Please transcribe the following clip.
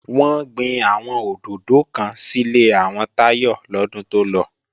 Wọ́n gbin àwọn òdòdó kan sílé àwọn Táyọ lọ́dún tó lọ